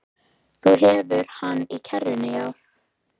Þú hefur hann í kerrunni, já.